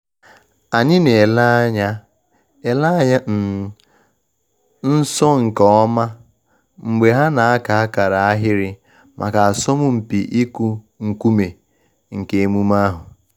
Anyị na ele anya ele anya um nso nke ọma mgbe ha na aka akara ahịrị maka asọmpi ịkụ nkume nke emume ahụ.